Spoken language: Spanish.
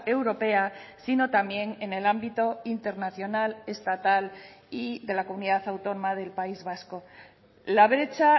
europea sino también en el ámbito internacional estatal y de la comunidad autónoma del país vasco la brecha